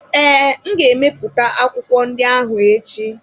Ee, m ga-ebipụta akwụkwọ ndị ahụ echi.